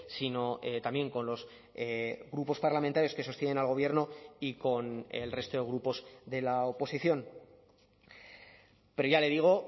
sino también con los grupos parlamentarios que sostienen al gobierno y con el resto de grupos de la oposición pero ya le digo